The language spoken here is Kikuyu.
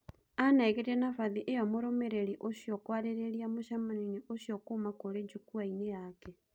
Anengerire nabathi iyo mũrũmiriri ũcio kũariria mũcemanio ũcio kuuma kũri jukwa-ini yake